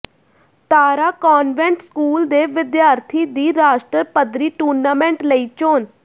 ਤਾਰਾ convent school ਦੇ ਵਿਦਿਆਰਥੀ ਦੀ ਰਾਸ਼ਟਰ ਪੱਧਰੀ ਟੂਰਨਾਮੈਂਟ ਲਈ ਚੋਣ